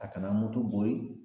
A kana moto bori